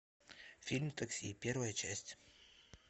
фильм такси первая часть